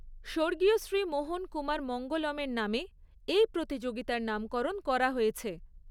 স্বর্গীয় শ্রী মোহন কুমার মঙ্গলমের নামে এই প্রতিযোগিতার নামকরণ করা হয়েছে।